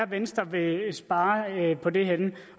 venstre vil spare på det henne